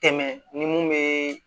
Tɛmɛ ni mun bɛ